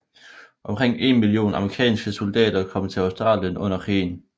Omkring en million amerikanske soldater kom til Australien under krigen